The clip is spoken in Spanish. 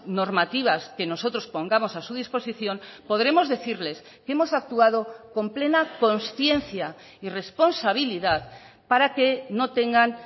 normativas que nosotros pongamos a su disposición podremos decirles que hemos actuado con plena conciencia y responsabilidad para que no tengan